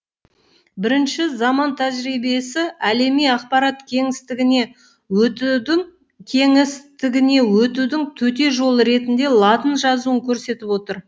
бірінші заман тәжірибесі әлеми ақпарат кеңістігіне өтудің кеңістігіне өтудің төте жолы ретінде латын жазуын көрсетіп отыр